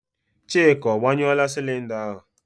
Chika, agbanyụọla sịlịnda ahụ?